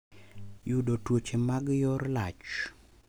Yudo tuoche mag yor lach.